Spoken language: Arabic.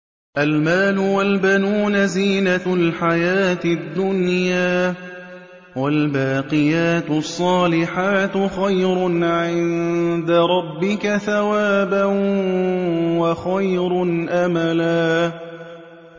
الْمَالُ وَالْبَنُونَ زِينَةُ الْحَيَاةِ الدُّنْيَا ۖ وَالْبَاقِيَاتُ الصَّالِحَاتُ خَيْرٌ عِندَ رَبِّكَ ثَوَابًا وَخَيْرٌ أَمَلًا